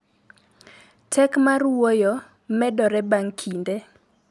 Tek mar wuoyo medore bang� kinde.